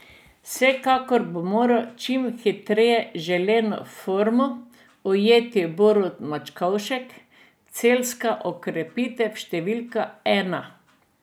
Vsekakor bo moral čim hitreje želeno formo ujeti Borut Mačkovšek, celjska okrepitev številka ena.